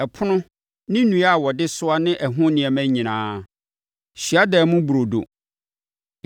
Ɛpono ne nnua a wɔde soa ne ɛho nneɛma nyinaa, Hyiadan mu Burodo;